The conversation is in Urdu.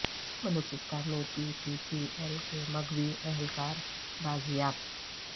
بلوچستان میں پی ٹی سی ایل کے مغوی اہلکار بازیاب